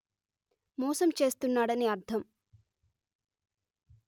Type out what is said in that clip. మోసం చేస్తున్నాడని అర్థం